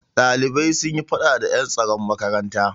Ɗalibai sun yi faɗa da ƴan tsaron makaranta.